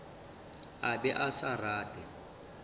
a be a sa rate